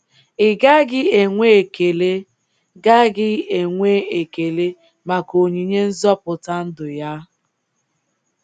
Ị gaghị enwe ekele gaghị enwe ekele maka onyinye nzọpụta ndụ ya?